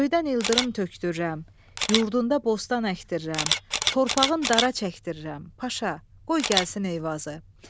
Göydən ildırım tökdürürəm, yurdunda bostan əkdirirəm, torpağın dara çəkdirirəm, Paşa, qoy gəlsin Eyvazı.